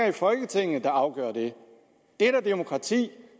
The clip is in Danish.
i folketinget der afgør det det er da demokrati